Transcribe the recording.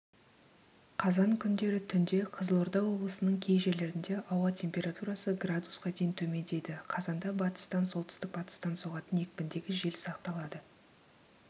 қазан күндері түнде қызылорда облысының кей жерлерінде ауа температурасы градусқа дейін төмендейді қазанда батыстан солтүстік-батыстан соғатын екпіндегі жел сақталады